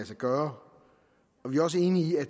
sig gøre vi er også enige i at